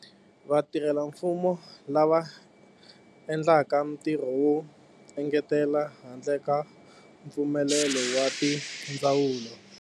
Vatirhelamfumo lava endlaka ntirho wo engetela handle ka mpfumelelo wa ti ndzawulo.